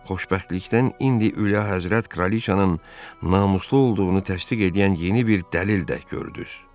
Xoşbəxtlikdən indi Ülyahəzrət kraliçanın namuslu olduğunu təsdiq edən yeni bir dəlil də gördünüz.